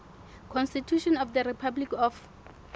constitution of the republic of